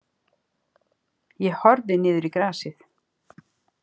Ég horfði niður í grasið.